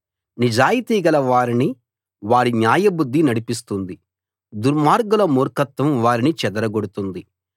నిజాయితీ గల వారిని వారి న్యాయబుద్ధి నడిపిస్తుంది దుర్మార్గుల మూర్ఖత్వం వారిని చెడగొడుతుంది